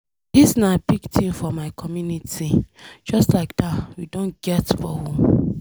Dis na big thing for my community. Just like dat we Don get borehole.